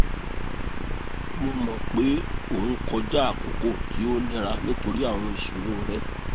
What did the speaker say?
mo mọ pe o n kọja akoko ti o nira nitori awọn iṣoro rẹ